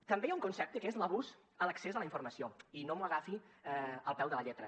també hi ha un concepte que és l’abús a l’accés a la informació i no m’ho agafi al peu de la lletra